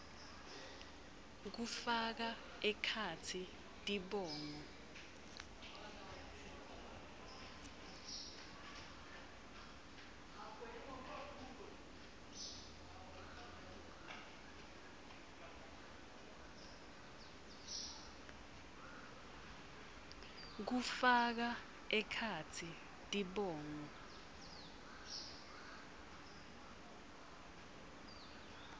kufaka ekhatsi tibongo